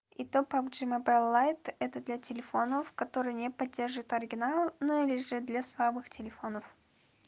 и то по джимабайлайт это для телефонов который не поддерживает оригинал но или же для слабых телефонов